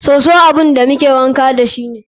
Soso abun da muke wanka dashi ne.